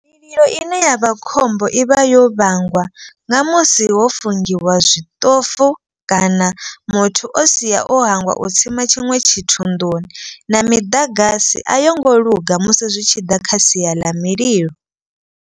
Mililo ine yavha khombo i vha yo vhangwa nga musi ho fungiwa zwiṱofu kana muthu o sia o hangwa u tsima tshiṅwe tshithu nḓuni. Na miḓagasi a yo ngo luga musi zwi tshi ḓa kha sia ḽa mililo.